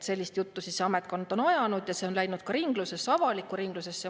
Sellist juttu on see ametkond ajanud ja see on läinud ka ringlusesse, avalikku ringlusesse.